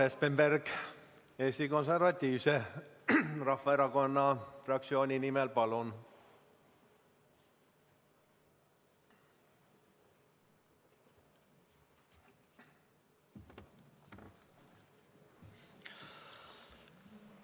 Urmas Espenberg, Eesti Konservatiivse Rahvaerakonna fraktsiooni nimel, palun!